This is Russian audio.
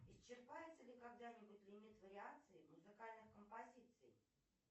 исчерпается ли когда нибудь лимит вариаций музыкальных композиций